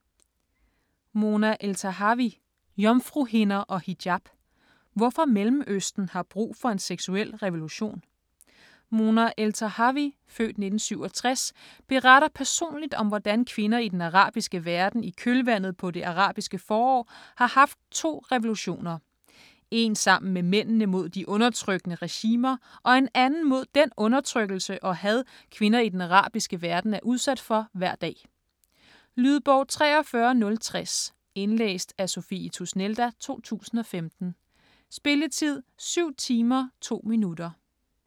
Eltahawy, Mona: Jomfruhinder og hijab: hvorfor Mellemøsten har brug for en seksuel revolution Mona Eltahawy (f. 1967) beretter personligt om hvordan kvinder i den arabiske verden i kølvandet på det arabiske forår har haft to revolutioner: En sammen med mændene mod de undertrykkende regimer, og en anden mod den undertrykkelse og had kvinder i den arabiske verden er udsat for hver dag. Lydbog 43060 Indlæst af Sophie Tusnelda, 2015. Spilletid: 7 timer, 2 minutter.